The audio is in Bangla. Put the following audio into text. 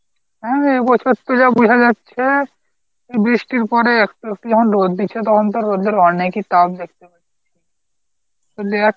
হ্যাঁ, এ বছর তো যা বোঝা যাচ্ছে বৃষ্টির পরে একটু একটু যখন রোদ দিচ্ছে তখন তো রোদের অনেকই তাপ দেখতে পাচ্ছি,